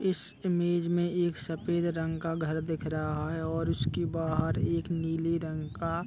इस इमेज में एक सफ़ेद रंग का घर दिख रहा है और उसकी बहार एक नीले रंग का --